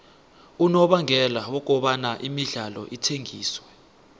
unobangela wokobana imidlalo ithengiswe